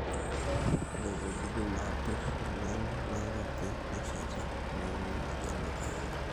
ore wuejitin naapir oleng nairobi nesheita neuni majani o kahawa